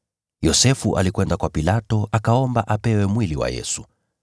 Yosefu alikwenda kwa Pilato, akaomba apewe mwili wa Yesu.